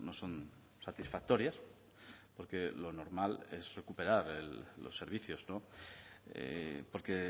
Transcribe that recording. son satisfactorias porque lo normal es recuperar los servicios porque